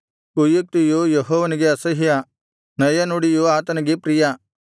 ಕುಯುಕ್ತಿಯು ಯೆಹೋವನಿಗೆ ಅಸಹ್ಯ ನಯನುಡಿಯು ಆತನಿಗೆ ಪ್ರಿಯ